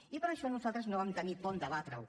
i per això nosaltres no vam tenir por en debatre ho